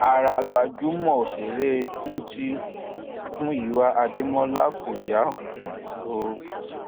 ara gbajúmọ òṣèré ńǹtí um muiwa adémọlá kò yá um o